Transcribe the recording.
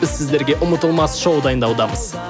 біз сіздерге ұмытылмас шоу дайындаудамыз